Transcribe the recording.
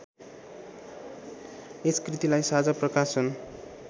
यस कृतिलाई साँझा प्रकाशन